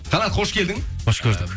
қанат көш келдің қош көрдік